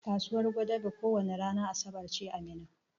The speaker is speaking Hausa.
Kasuwan gwadabe ko wani ranan asabar ce a Minna.